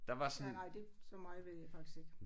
Ja nej så meget ved jeg faktisk ikke